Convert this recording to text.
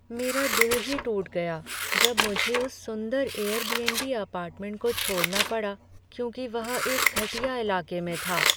मेरा दिल ही टूट गया जब मुझे उस सुंदर एयरबीएनबी अपार्टमेंट को छोड़ना पड़ा क्योंकि वह एक घटिया इलाके में था।